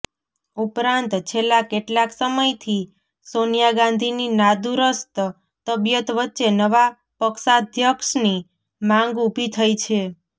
ઉપરાંત છેલ્લા કેટલાક સમયથી સોનિયા ગાંધીની નાદુરસ્ત તબિયત વચ્ચે નવા પક્ષાધ્યક્ષની માંગ ઊભી થઇ છે